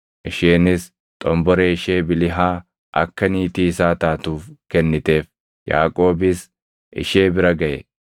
Isheenis xomboree ishee Bilihaa akka niitii isaa taatuuf kenniteef. Yaaqoobis ishee bira gaʼe;